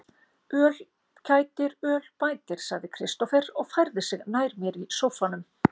Öl kætir, öl bætir, sagði Kristófer og færði sig nær mér í sóffanum.